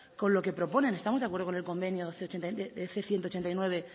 con lo que proponen estamos de acuerdo con el convenio ciento ochenta y nueve